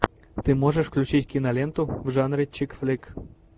ты можешь включить киноленту в жанре чик флик